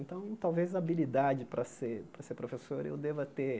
Então, talvez a habilidade para ser para ser professor eu deva ter.